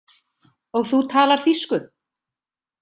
Og þú talar þýsku?